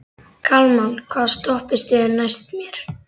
Kalman, hvaða stoppistöð er næst mér?